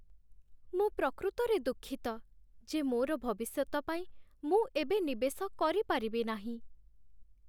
ମୁଁ ପ୍ରକୃତରେ ଦୁଃଖିତ ଯେ ମୋର ଭବିଷ୍ୟତ ପାଇଁ ମୁଁ ଏବେ ନିବେଶ କରିପାରିବି ନାହିଁ।